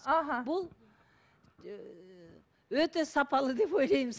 аха бұл ііі өте сапалы деп ойлаймыз